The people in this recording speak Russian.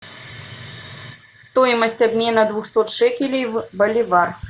стоимость обмена двухсот шекелей в боливар